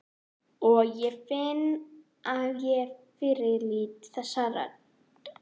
Og ég finn að ég fyrirlít þessa rödd.